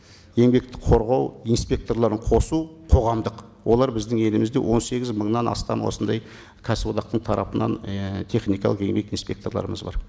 еңбекті қорғау инспекторларын қосу қоғамдық олар біздің елімізде он сегіз мыңнан астам осындай кәсіподақтың тарапынан і техникалық еңбек инспекторларымыз бар